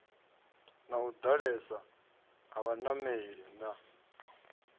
u ḓalesa ha vhanameli na